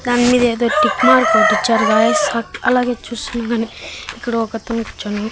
దాని మీద ఏదో టిక్ మార్క్ ఒకటిచ్చారు గాయ్స్ అట్లా అలాగే చూస్తుండగానే ఇక్కడ ఒక అతను కూర్చుని--